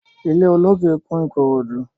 Ilé olókè kún Ìkòròdú.